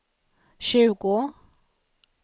tjugo